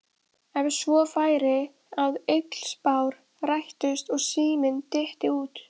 Ef svo færi að illspár rættust og síminn dytti út.